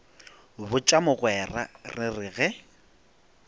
botša mogwera re re ge